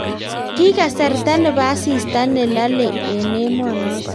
Ki kasarta ne bo asista ne lolei eng emoo noto.